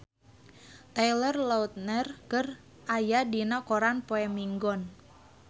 Taylor Lautner aya dina koran poe Minggon